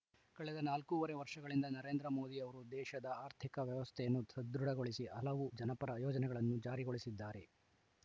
ಕಳೆದ ನಾಲ್ಕೂವರೆ ವರ್ಷಗಳಿಂದ ನರೇಂದ್ರ ಮೋದಿ ಅವರು ದೇಶದ ಆರ್ಥಿಕ ವ್ಯವಸ್ಥೆಯನ್ನು ಸದೃಢಗೊಳಿಸಿ ಹಲವು ಜನಪರ ಯೋಜನೆಗಳನ್ನು ಜಾರಿಗಳಿಸಿದ್ದಾರೆ